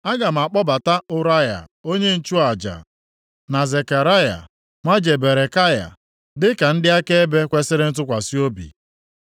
Aga m akpọbata Ụraya onye nchụaja na Zekaraya nwa Jeberekaya dịka ndị akaebe kwesiri ntụkwasị obi.”